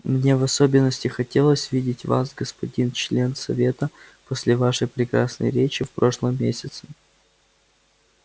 мне в особенности хотелось видеть вас господин член совета после вашей прекрасной речи в прошлом месяце